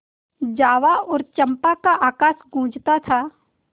जावा और चंपा का आकाश गँूजता था